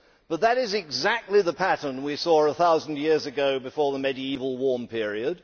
But that is exactly the pattern we saw a thousand years ago before the medieval warm period